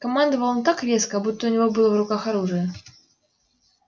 командовал он так резко будто у него было в руках оружие